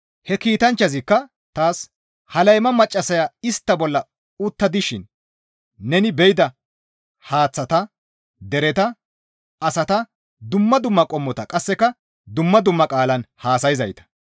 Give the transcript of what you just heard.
He kiitanchchazikka taas, «Ha layma maccassaya istta bolla utta dishin neni be7ida haaththata, dereta, asata, dumma dumma qommota qasseka dumma dumma qaalan haasayzayta.